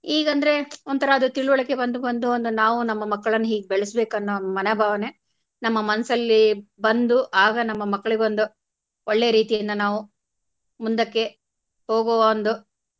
ಈಗಂದ್ರೆ ಒಂಥರಾ ಅದು ತಿಳುವಳಿಕೆ ಬಂದು ಬಂದು ಒಂದು ನಾವು ನಮ್ಮ ಮಕ್ಕಳನ್ನ ಹೀಗ್ ಬೆಳೆಸ್ಬೇಕು ಅನ್ನೊ ಮನೋಭಾವನೆ ನಮ್ಮ ಮನಸಲ್ಲಿ ಬಂದು ಆಗ ನಮ್ಮ ಮಕ್ಕಳಿಗೊಂದು ಒಳ್ಳೆಯ ರೀತಿಯಿಂದ ನಾವು ಮುಂದಕ್ಕೆ ಹೋಗುವ ಒಂದು.